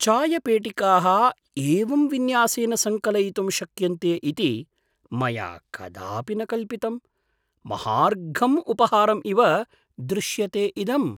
चायपोटिकाः एवं विन्यासेन सङ्कलयितुं शक्यन्ते इति मया कदापि न कल्पितम्। महार्घं उपहारम् इव दृश्यते इदम्।